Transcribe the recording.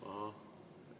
Ahah.